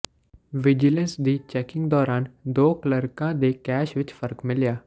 vigilance ਦੀ checking ਦੌਰਾਨ ਦੋ ਕਲਰਕਾਂ ਦੇ ਕੈਸ਼ ਵਿਚ ਫਰਕ ਮਿਲਿਆ